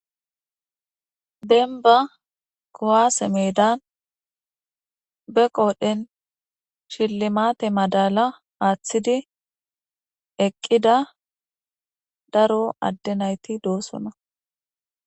Denba kowaase meedan be qoodhen shillimate madala aaththidi eqqida daro adde nayti doosona